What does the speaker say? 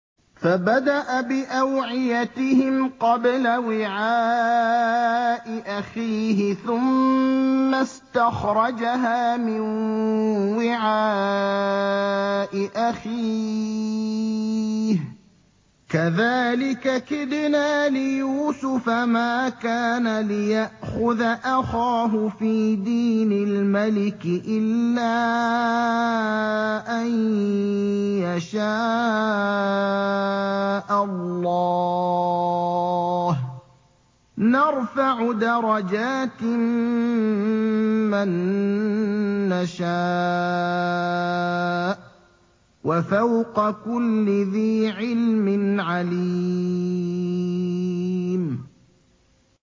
فَبَدَأَ بِأَوْعِيَتِهِمْ قَبْلَ وِعَاءِ أَخِيهِ ثُمَّ اسْتَخْرَجَهَا مِن وِعَاءِ أَخِيهِ ۚ كَذَٰلِكَ كِدْنَا لِيُوسُفَ ۖ مَا كَانَ لِيَأْخُذَ أَخَاهُ فِي دِينِ الْمَلِكِ إِلَّا أَن يَشَاءَ اللَّهُ ۚ نَرْفَعُ دَرَجَاتٍ مَّن نَّشَاءُ ۗ وَفَوْقَ كُلِّ ذِي عِلْمٍ عَلِيمٌ